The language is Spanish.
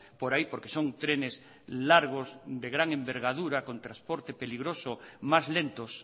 por ahí porque son trenes largos de gran envergadura con transporte peligroso más lentos